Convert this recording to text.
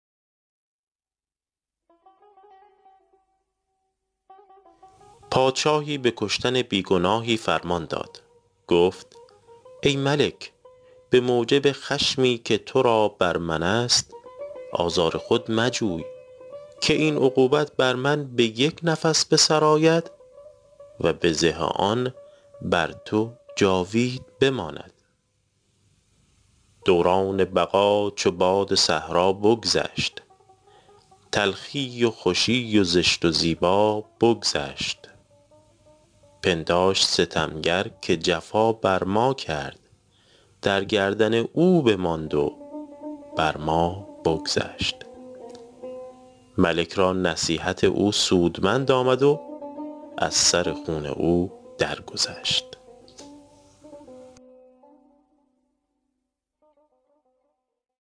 پادشاهی به کشتن بی گناهی فرمان داد گفت ای ملک به موجب خشمی که تو را بر من است آزار خود مجوی که این عقوبت بر من به یک نفس به سر آید و بزه آن بر تو جاوید بماند دوران بقا چو باد صحرا بگذشت تلخی و خوشی و زشت و زیبا بگذشت پنداشت ستمگر که جفا بر ما کرد در گردن او بماند و بر ما بگذشت ملک را نصیحت او سودمند آمد و از سر خون او در گذشت